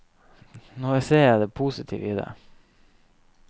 Nå ser jeg det positive i det.